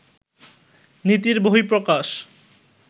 নীতির বহিঃপ্রকাশ